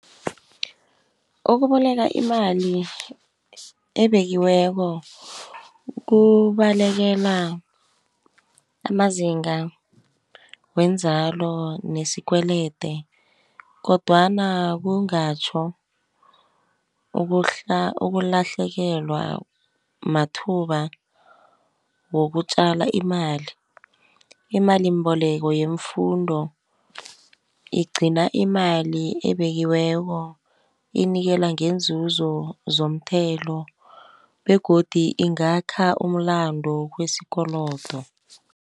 Ukuboleka imali ebekiweko kubalekela amazinga wenzalo nesikwelede, kodwana kungatjho ukulahlekelwa mathuba wokutjala imali. Imalimbeleko yemfundo igcina imali ebekiweko, inikela ngeenzuzo zomthelo begodu ingakha umlando wesikolodo.